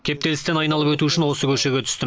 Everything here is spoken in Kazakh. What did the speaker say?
кептелісті айналып өту үшін осы көшеге түстім